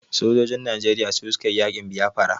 Sojojin Najeriya su su ka yi yaƙin Biafra.